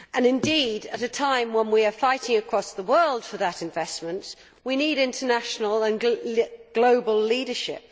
Indeed, at a time when we are fighting across the world for that investment, we need international and global leadership.